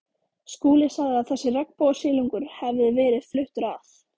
Skúli sagði að þessi regnbogasilungur hefði verið fluttur að